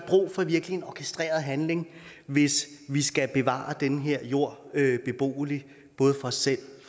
virkelig en orkestreret handling hvis vi skal bevare den her jord beboelig både for os selv